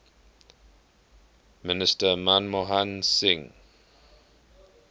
minister manmohan singh